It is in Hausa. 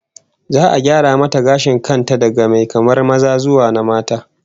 Za'a gyara mata gashin kan ta daga mai kamar maza zuwa na mata